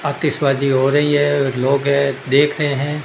आतिशबाजी हो रही है लोग हैं देख रहे हैं।